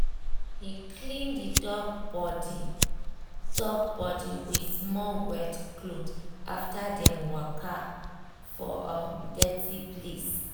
he clean the dog body dog body with small wet cloth after dem waka um for um dirty place.